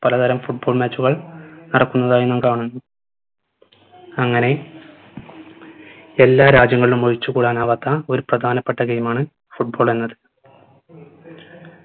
പല തരം football match കൾ നടക്കുന്നതായി നാം കാണുന്നു അങ്ങനെ എല്ലാ രാജ്യങ്ങളും ഒഴിച്ചുകൂടാനാവാത്ത ഒരു പ്രധാനപ്പെട്ട game ആണ് football എന്നത്